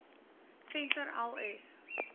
venter l s